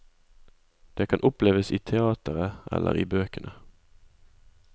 Det kan oppleves i teatret eller i bøkene.